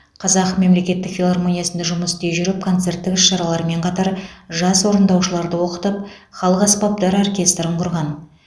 қазақ мемлекеттік филармониясында жұмыс істей жүріп концерттік іс шаралармен қатар жас орындаушыларды оқытып халық аспаптар оркестрін құрған